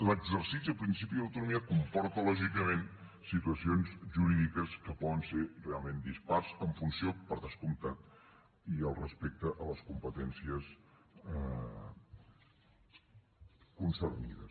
l’exercici del principi d’autonomia comporta lògicament situacions jurídiques que poden ser realment dispars en funció per descomptat i respecte a les competències concernides